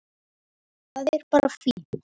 Það er bara fínt.